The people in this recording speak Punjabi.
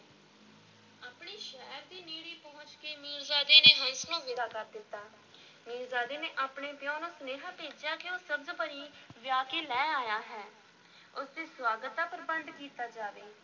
ਆਪਣੇ ਸ਼ਹਿਰ ਦੇ ਨੇੜੇ ਪਹੁੰਚ ਕੇ ਮੀਰਜ਼ਾਦੇ ਨੇ ਹੰਸ ਨੂੰ ਵਿਦਾ ਕਰ ਦਿੱਤਾ, ਮੀਰਜ਼ਾਦੇ ਨੇ ਆਪਣੇ ਪਿਓ ਨੂੰ ਸੁਨੇਹਾ ਭੇਜਿਆ ਕਿ ਉਹ ਸਬਜ਼-ਪਰੀ ਵਿਆਹ ਕੇ ਲੈ ਆਇਆ ਹੈ, ਉਸ ਦੇ ਸੁਆਗਤ ਦਾ ਪ੍ਰਬੰਧ ਕੀਤਾ ਜਾਵੇ।